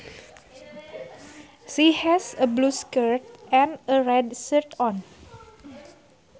She has a blue skirt and a red shirt on